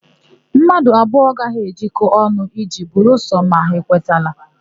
Mmadụ abụọ agaghị ejekọnwu ije belụsọ ma ha ekwetara.